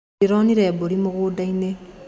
Ndĩronire mbũri mũgũnda-inĩ.